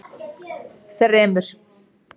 þremur